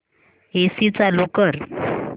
AC चालू कर